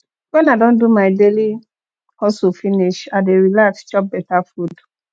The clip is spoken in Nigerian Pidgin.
wen i don do my daily hustle finish i dey relax chop beta food